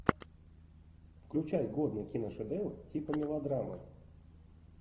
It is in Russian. включай годный киношедевр типа мелодрамы